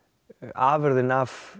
afurðin af